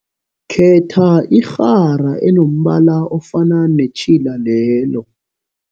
Khetha irhara enombala ofana netjhila lelo.